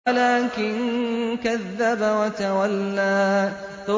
وَلَٰكِن كَذَّبَ وَتَوَلَّىٰ